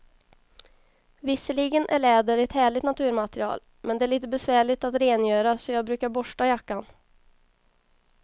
Visserligen är läder ett härligt naturmaterial, men det är lite besvärligt att rengöra, så jag brukar borsta jackan.